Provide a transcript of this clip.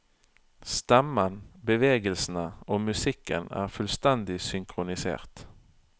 Stemmen, bevegelsene og musikken er fullstendig synkronisert.